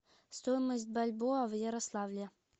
стоимость бальбоа в ярославле